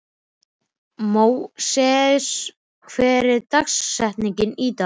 Móses, hver er dagsetningin í dag?